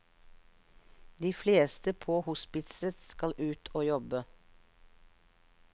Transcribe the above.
De fleste på hospitset skal ut og jobbe.